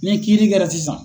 Ni kiiri kɛra sisan.